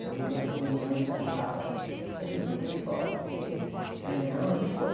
Todo mundo conheceu todo mundo e perguntava, o seu filho foi para a escola por quê... A minha mãe, não, ele foi.